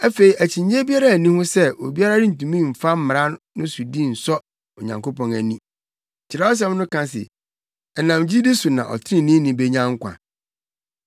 Afei akyinnye biara nni ho sɛ obiara rentumi mfa mmara no sodi nsɔ Onyankopɔn ani. Kyerɛwsɛm no ka se, “Ɛnam gyidi so na ɔtreneeni benya nkwa.”